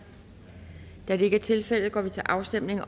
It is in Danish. da det ikke er tilfældet går vi til afstemning